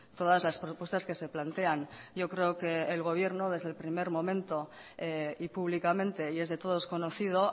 todas las propuestas que se plantean yo creo que el gobierno desde el primer momento y públicamente y es de todos conocido